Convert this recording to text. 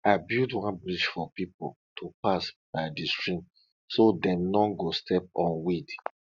i build one bridge for people to pass by the stream so dem no go step on weed